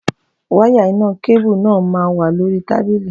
Wáyà iná kébù náà máa wà lórí tábìlì